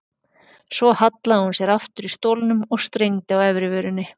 Svo hallaði hún sér aftur í stólnum og strengdi á efri vörinni.